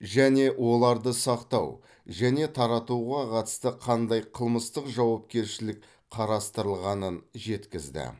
және оларды сақтау және таратуға қатысты қандай қылмыстық жауапкершілік қарастырылғанын жеткізді